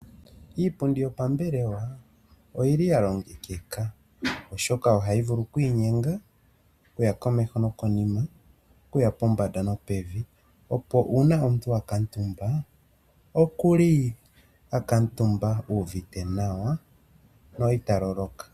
Iipundi yopambelewa oyili yalongekeka, oshoka ohayi vulu oku inyenga okuya komeho nokonima, okuya pombanda nopevi opo uuna omuntu akala omutumba okuli a kuutumba u uvite nawa no ita loloka.